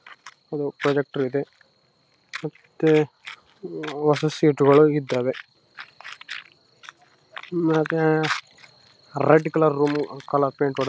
ಅದು ಪ್ರೊಜೆಕ್ಟರ್‌ ಇದೆ ಮತ್ತೆ ಮತ್ತೆ ಹೊಸ ಸೀಟುಗಳು ಇದ್ದಾವೆ ಮತ್ತೆ red colour room colour paint .